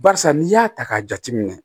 Barisa n'i y'a ta k'a jateminɛ